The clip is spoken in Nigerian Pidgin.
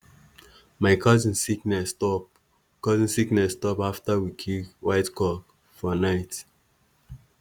my cousin sickness stop cousin sickness stop after we kill white cock for night.